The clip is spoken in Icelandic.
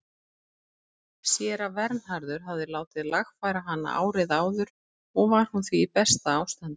Séra Vernharður hafði látið lagfæra hana árið áður og var hún því í besta ástandi.